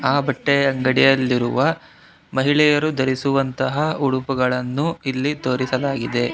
ಆ ಬಟ್ಟೆಯ ಗಡಿಯಲ್ಲಿರುವ ಮಹಿಳೆಯರು ಧರಿಸುವಂತಹ ಉಡುಪುಗಳನ್ನು ಇಲ್ಲಿ ತೋರಿಸಲಾಗಿದೆ.